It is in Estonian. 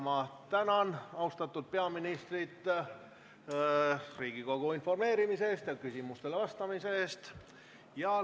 Ma tänan austatud peaministrit Riigikogu informeerimise ja küsimustele vastamise eest!